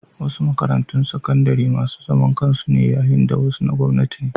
Wasu makarantun sakandare masu zaman kansu ne yayin da wasu na gwamnati.